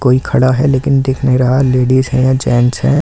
कोई खड़ा है लेकिन दिख नहीं रहा लेडीस है जैंट्स है इस--